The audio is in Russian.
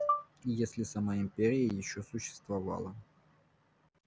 и если сама империя ещё существовала